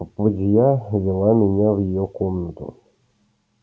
попадья вела меня в её комнату